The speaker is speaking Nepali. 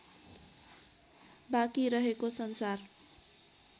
बाँकी रहेको संसार